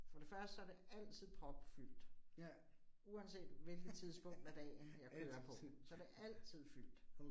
For det første så det altid propfyldt, uanset hvilket tidspunkt af dagen, jeg kører på. Så det altid fyldt